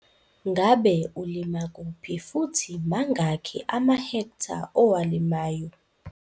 Ngabe ulima kuphi futhi mangakhi amahektha owalimayo?